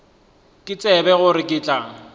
ke tsebe gore ke tla